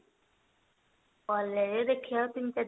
collage ଦେଖିବା ତିନି ତାରିଖ ଆଡକୁ